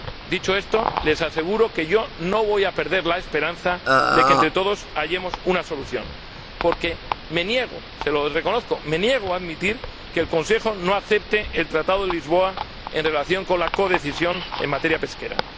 Dicho esto, les aseguro que yo no voy a perder la esperanza de que entre todos hallemos una solución, porque me niego a admitir que el Consejo no acepte el Tratado de Lisboa en relación con la codecisión en materia pesquera.